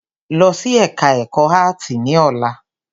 Lọ sí ẹka ẹ̀kọ́ áàtì ní ọ̀la!